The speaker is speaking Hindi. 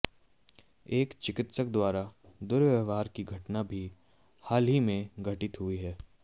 एक चिकित्सक द्वारा दुर्व्यवहार की घटना भी हाल ही में घटित हुई है